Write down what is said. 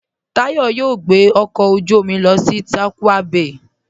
Táyọ̀ yóò gbẹ ọkọ ojú omi lọ sí Tàkwa Bày